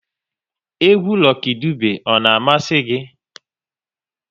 Egwu Lucky Dube ọ na-amasị gị?